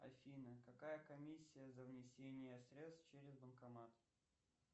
афина какая комиссия за внесение средств через банкомат